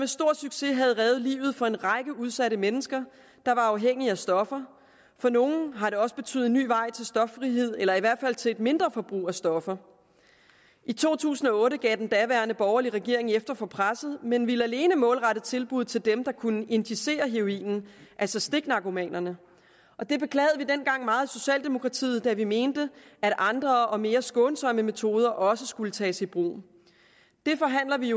stor succes har reddet livet for en række udsatte mennesker der var afhængige af stoffer for nogle har det også betydet en ny vej til stoffrihed eller i hvert fald til et mindre forbrug af stoffer i to tusind og otte gav den daværende borgerlige regering efter for presset men ville alene målrette tilbuddet til dem der kunne injicere heroinen altså stiknarkomanerne det beklagede vi dengang meget i socialdemokratiet for vi mente at andre og mere skånsomme metoder også skulle tages i brug nu forhandler vi